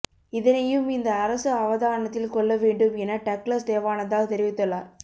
இதனையும் இந்த அரசு அவதானத்தில் கொள்ள வேண்டும் என டக்ளஸ் தேவானந்தா தெரிவித்துள்ளார்